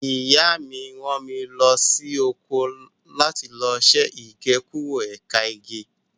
Ìyá mi rán mi lọ sóko láti lọ ṣe Igékúrò ẹ̀ka igi.